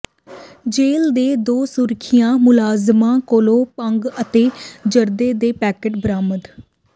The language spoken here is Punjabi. ਜੇਲ੍ਹ ਦੇ ਦੋ ਸੁਰੱਖਿਆ ਮੁਲਾਜ਼ਮਾਂ ਕੋਲੋਂ ਭੰਗ ਅਤੇ ਜਰਦੇ ਦੇ ਪੈਕਟ ਬਰਾਮਦ